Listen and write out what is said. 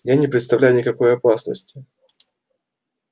я не представляю никакой опасности